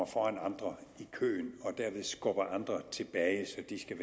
foran andre i køen og dermed skubbede andre tilbage